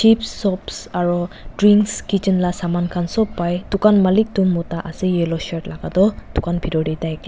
aro drinks kitchen la samankhan sop pai dukan malik toh mota ase yellow shirt laka toh dukan bitor tai akela.